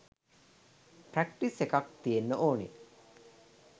Practice එකක් තියෙන්න ඕන.